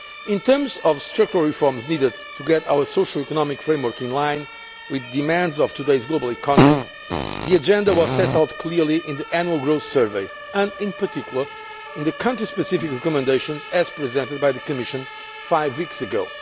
In terms of the structural reforms needed to get our socio economic framework in line with the demands of today's global economy, the agenda was set out clearly in the Annual Growth Survey and, in particular, in the country specific recommendations presented by the Commission five weeks ago.